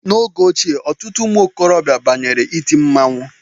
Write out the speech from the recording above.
N'oge ochie, ọtụtụ ụmụ okorobịa banyere iti mmanwụ